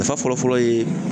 Nafa fɔlɔfɔlɔ ye